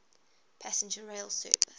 passenger rail service